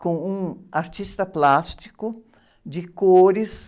com um artista plástico de cores.